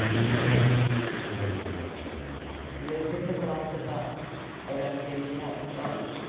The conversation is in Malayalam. Lead ൻ്റെ പ്രധാനപ്പെട്ട അയിരാണ് Galena ലിത്താ